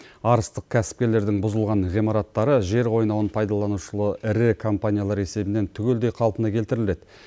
арыстық кәсіпкерлердің бұзылған ғимараттары жер қойнауын пайдаланушылы ірі компаниялар есебінен түгелдей қалпына келтіріледі